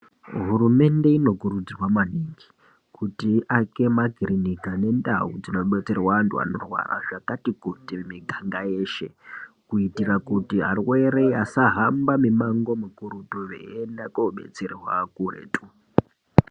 Hurumende inokurudzirwa maningi, kuti ake makirinika nandawu dzinodetserwa vantu vanorwarwa zvakati kuti miganga yeshe, kuitira kuti arwere asahamba mimango mukurutu veyenda kodetserwa kuretu.